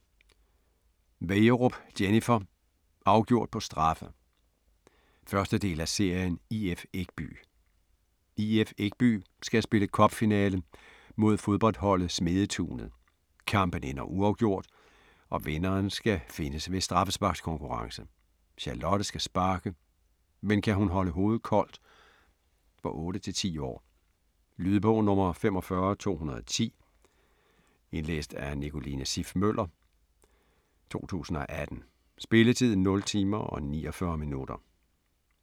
Wegerup, Jennifer: Afgjort på straffe! 1. del af serien IF Ekby. IF Ekby skal spille cup-finale mod fodboldholdet Smedetunet. Kampen ender uafgjort, og vinderen skal findes ved straffesparkskonkurrence. Charlotte skal sparke, men kan hun holde hovedet koldt? For 8-10 år. Lydbog 45210 Indlæst af Nicoline Siff Møller, 2018. Spilletid: 0 timer, 49 minutter.